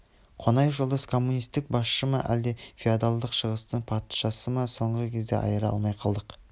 қонаев жолдас коммунист басшы ма әлде феодалдық шығыстың патшасы ма соңғы кезде айыра алмай қалдық